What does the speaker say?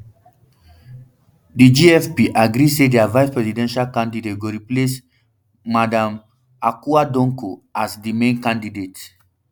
di gfp agree say dia vice presidential candidate go replace um madam akua donkor as um di main candidate